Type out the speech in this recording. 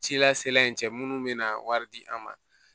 Cila sela in cɛ minnu bɛna wari di an ma